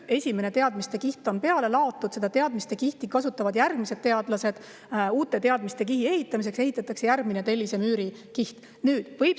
Kui esimene teadmistekiht on laotud, siis kasutavad järgmised teadlased seda uue teadmistekihi ehitamiseks, ehitatakse tellisemüüri järgmine kiht.